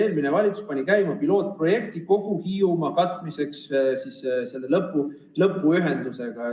Eelmine valitsus pani käima pilootprojekti kogu Hiiumaa katmiseks selle lõpuühendusega.